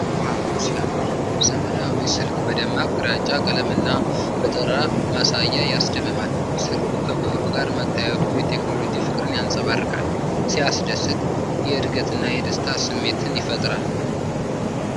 ዋው ሲያምር! ዘመናዊው ስልክ በደማቅ ግራጫ ቀለም እና በጠራ ማሳያ ያስደምማል። ስልኩ ከብዕሩ ጋር መታየቱ የቴክኖሎጂ ፍቅርን ያንጸባርቃል። ሲያስደንቅ! የዕድገትና የደስታ ስሜትን ይፈጥራል።